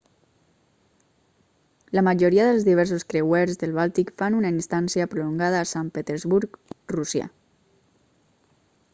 la majoria dels diversos creuers del bàltic fan una estància prolongada a sant petersburg rússia